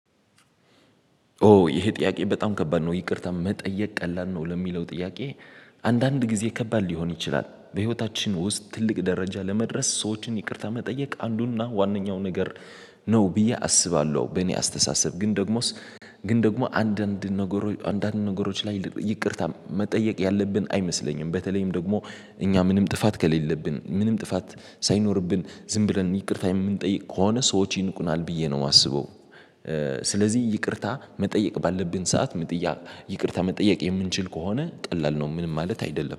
ኦ ይሄ ጥያቄ በጣም ከባድ ነው ይቅርታ መጠየቅ ቀላል ነው ለሚለው ጥያቄ? አንዳንድ ጊዜ ከባድ ሊሆን ይችላል በህይወታችን ውስጥ ትልቅ ደረጃ ለመድረስ ሰዎችን ይቅርታ መጠየቅ አንዱና ዋነኛው ነገር ነው ብዬ አስባለሁ። በእኔ አስተሳሰብ ግን ደግሞስ ግን ደግሞ አንዳንድ ነገሮች አንዳንድ ነገሮች ላይ ይቅርታ መጠየቅ ያለብን አይመስለኝም በተለይም ደግሞ እኛ ምንም ጥፋት ከሌለብን ምንም ጥፋት ሳይኖርብን ዝም ብለን ይቅርታ የምንጠይቅ ከሆነ ሰዎች ይንቁናል ብዬ ነው የማስበው። ስለዚህ ይቅርታ መጠየቅ ባለብን ሰዓት ይቅርታ መጠየቅ የምንችል ከሆነ ቀላል ነው ምንም ማለት አይደለም